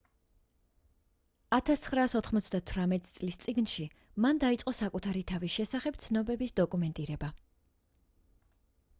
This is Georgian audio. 1998 წლის წიგნში მან დაიწყო საკუთარი თავის შესახებ ცნობების დოკუმენტირება